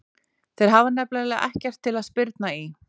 Þeir hafa nefnilega ekkert til að spyrna í.